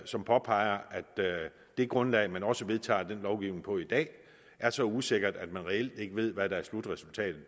som påpeger at det grundlag man også vedtager den lovgivning på i dag er så usikkert at man reelt ikke ved hvad der er slutresultatet